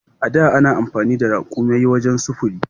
A da ana amfani da raƙumaye wajen sufuri.